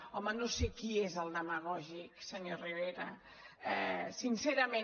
home no sé qui és el demagògic senyor rivera sincerament